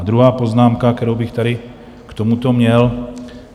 A druhá poznámka, kterou bych tady k tomuto měl.